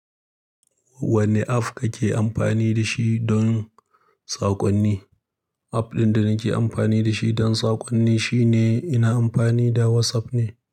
Wanne app kake amfani da shi don saƙonni? App ɗin da nake amfani da shi don saƙonni shine ina amfani da WhatsApp ne.